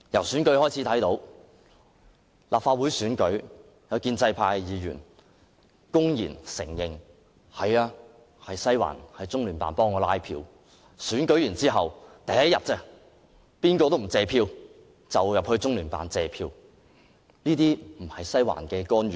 選舉方面，在立法會選舉期間，有建制派議員公然承認中聯辦協助拉票，然後當選者在選舉翌日便到中聯辦謝票，難道這不是"西環"的干預嗎？